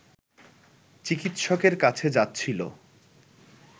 চিকিৎসকের কাছে যাচ্ছিল